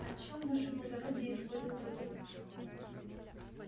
о чём ваше благородие изволил задуматься